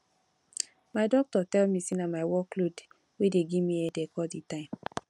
my doctor tell me say na my work load wey dey give me headache all the time